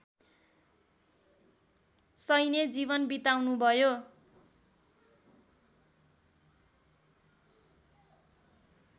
सैन्य जीवन बिताउनुभयो